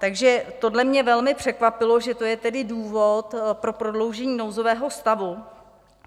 Takže tohle mě velmi překvapilo, že to je tedy důvod pro prodloužení nouzového stavu.